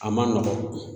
A man nɔgɔn